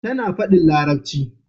Tana fadin larabci